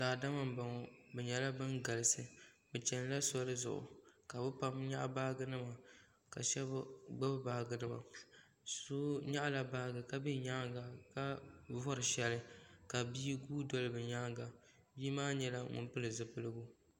salo n kuli laɣim ʒɛ lori puuni tihi n ʒɛ be nyɛŋa kari vuri ŋɔ kom nyɛ zaɣivakahili ka yili gba ʒɛya m mɛri tihi ŋɔ pali ŋɔ zuɣ' salo gba nyɛla ban chini tiŋgbani ka lori ŋɔbɛ kuli zaŋ la kpamba anƒɔni nima zaŋ mɛhim lori ŋɔ